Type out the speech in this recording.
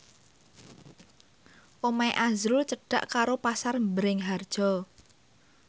omahe azrul cedhak karo Pasar Bringharjo